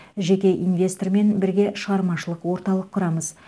жеке инвестормен бірге шығармашылық орталық құрамыз